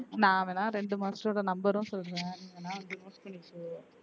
நான் வேணா ரெண்டு master ஓட number உம் சொல்ற நீ வேணா வந்து